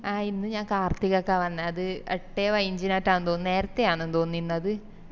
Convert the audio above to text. ആഹ് ഇന്ന് ഞാൻ കാർത്തികക്ക വന്നെ അത് എട്ടെ പയിനാഞ്ചിനാറ്റാ തോന്നിന്ന് നേരത്തെ ആന്ന് തോന്ന് ഇന്നത്